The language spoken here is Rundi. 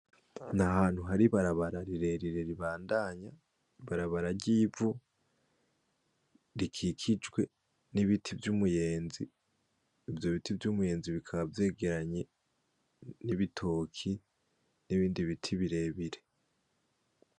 N' ahantu hari ibarabara rirerire ribandanya, ibarabara ry'ivu, rikikijwe n'ibiti vy'umuyenzi, ivyo biti vy'umuyenzi bikaba vyegeranye n'ibitoki n'ibindi biti birebire.